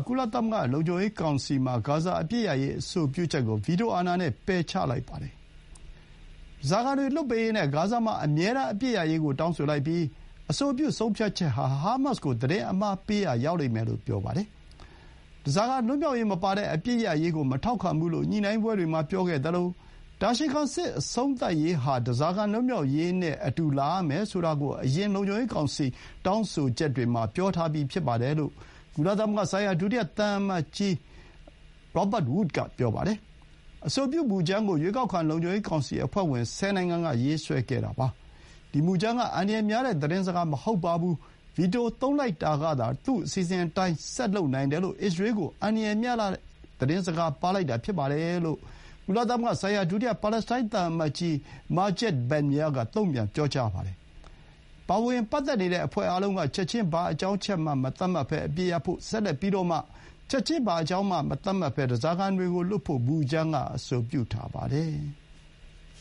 ကုလသမဂ္ဂ လုံခြုံရေး ကောင်စီမှာ ဂါဇာ အပစ်ရပ်ရေး အဆိုပြုချက်ကို အမေရိကန် ပြည်ထောင်စုက ဗီတိုအာဏာနဲ့ ပယ်ချလိုက်ပါတယ်။ ဓားစာခံတွေ လွှတ်ပေးရေးနဲ့ ဂါဇာမှာ အမြဲတမ်း အပစ်ရပ်ရေးကို တောင်းဆိုလိုက်ပြီး အဆိုပြု ဆုံးဖြတ်ချက်ဟာ ဟာမတ်စ်ကို သတင်းအမှားပေးရာ ရောက်လိမ့်မယ်လို့ ပြောလိုက်ပါတယ်။ ဓားစာခံ လွတ်မြောက်ရေး မပါတဲ့ အပစ်ရပ်ရေးကို မထောက်ခံဘူး လို့ ညှိုနှိုင်းပွဲတွေမှာ ပြောခဲ့သလို၊ တာရှည်ခံ စစ်အဆုံးသတ်ရေး ဟာ ဓားစာခံ လွတ်မြောက်ရေးနဲ့အတူ လာရမယ်ဆိုတာကို အရင် လုံခြုံရေး ကောင်စီ တောင်းဆိုချက်တွေမှာ ပြောထားပြီး ဖြစ်ပါတယ်လို့ ကုလသမဂ္ဂဆိုင်ရာ ဒုတိယ အမေရိကန် သံအမတ်ကြီး Robert Wood က ပြောပါတယ်။ အဆိုပြု မူကြမ်းကို ရွေးကောက်ခံ လုံခြုံရေး ကောင်စီအဖွဲ့ဝင် ၁၀ နိုင်ငံက ရေးဆွဲခဲ့တာပါ။ ဒီမူကြမ်း က အန္တရာယ်များတဲ့ သတင်းစကား မဟုတ်ပါဘူး။ ဗီတို သုံးလိုက်တာကသာ သူ့အစီအစဥ်အတိုင်း ဆက်လုပ်နိုင်တယ်လို့ အစ္စရေးကို အန္တရာယ်များလှတဲ့ သတင်းစကား ပါးလိုက်တာ ဖြစ်ပါတယ်လို့ ကုလသမဂ္ဂ ဆိုင်ရာ ဒုတိယ ပါလက်စတိုင်း သံအမတ်ကြီး Majed Bamya က တုံ့ပြန် ပြောကြားပါတယ်။ ပါဝင်ပတ်သက်နေတဲ့ အဖွဲ့အားလုံးက ချက်ချင်း၊ ဘာအကြောင်းအချက်မှ မသတ်မှတ်ဘဲ အပစ်ရပ်ဖို့၊ ဆက်လက်ပြီးတော့မှ ချက်ချင်း၊ ဘာအကြောင်းမှ မသတ်မှတ်ဘဲ ဓားစာခံတွေကို လွှတ်ဖို့ မူကြမ်းက အဆိုပြု ပါတယ်။